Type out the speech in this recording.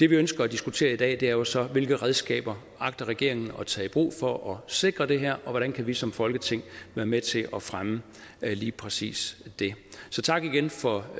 vi ønsker at diskutere i dag er jo så hvilke redskaber agter regeringen at tage i brug for at sikre det her og hvordan kan vi som folketing være med til at fremme lige præcis det så tak igen for